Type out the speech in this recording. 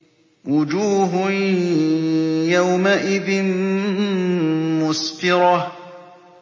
وُجُوهٌ يَوْمَئِذٍ مُّسْفِرَةٌ